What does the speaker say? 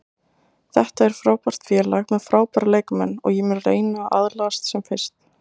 Þetta er frábært félag með frábæra leikmenn og ég mun reyna að aðlagast sem fyrst.